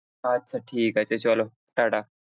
আচ্ছা ঠিক আছে চলো টাটা।